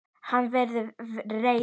En hann var reiður!